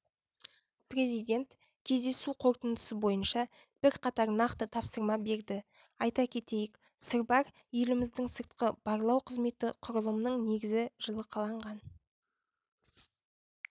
президент кездесу қорытындысы бойынша бірқатар нақты тапсырма берді айта кетейік сырбар еліміздің сыртқы барлау қызметі құрылымның негізі жылы қаланған